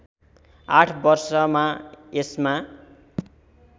८ वर्षमा यसमा